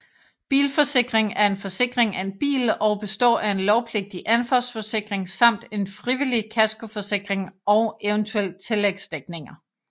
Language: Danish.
Bilforsikring er forsikring af en bil og består af en lovpligtig ansvarsforsikring samt en frivillig kaskoforsikring og eventuelt tillægsdækninger